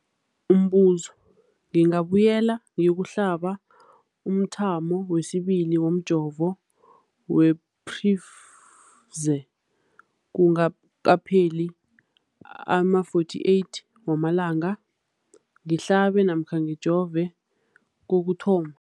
Umbuzo, ngingabuyela ngiyokuhlaba umthamo wesibili womjovo we-Pfizer kungakapheli ama-42 wamalanga ngihlabe namkha ngijove kokuthoma.